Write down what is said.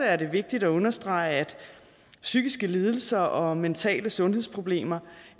er det vigtigt at understrege at psykiske lidelser og mentale sundhedsproblemer